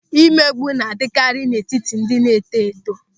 Mmegbu na-adịkarị n'etiti ndị na-eto eto.